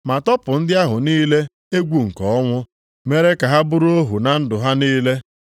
Ma tọpụ ndị ahụ niile egwu nke ọnwụ mere ka ha bụrụ ohu na ndụ ha niile.